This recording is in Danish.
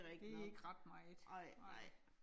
Det ikke ret meget. Nej